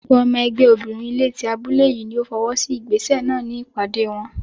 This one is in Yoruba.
Gbogbo ọmọ ẹgbẹ́ obìnrin ilé tí abúlé yìí ni ó fọwọ́ sí ìgbésẹ̀ náà ní ìpàdé wọn.